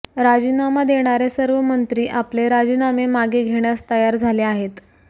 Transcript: राजीनामा देणारे सर्व मंत्री आपले राजीनामे मागे घेण्यास तयार झाले आहेत